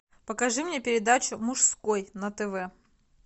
покажи мне передачу мужской на тв